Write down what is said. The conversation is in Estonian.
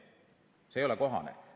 See ei ole kohane.